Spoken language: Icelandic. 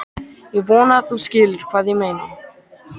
Ég vona að þú skiljir hvað ég meina.